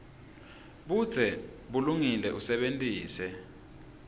budze bulungile usebentise